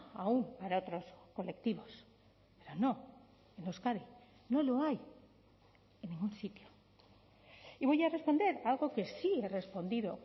aún para otros colectivos no en euskadi no lo hay en ningún sitio y voy a responder a algo que sí he respondido